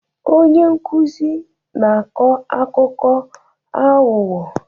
Onye nkuzi na-akọ akụkọ aghụghọ